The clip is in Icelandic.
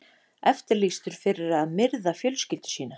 Eftirlýstur fyrir að myrða fjölskyldu sína